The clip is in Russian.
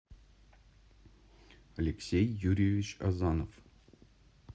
алексей юрьевич азанов